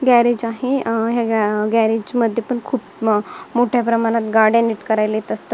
Garage आहे ह्या garage मध्ये पण खूप मोठ्या प्रमाणात गाड्या नीट करायला येत असतात.